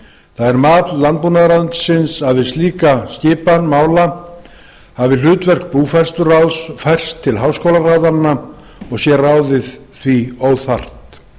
það er mat landbúnaðarráðuneytisins að við slíka skipan mála hafi hlutverk búfræðsluráðs færst til háskólaráðanna og sé ráðið því óþarft